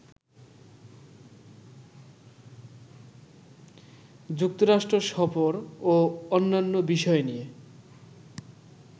যুক্তরাষ্ট্র সফর ও অন্যান্য বিষয় নিয়ে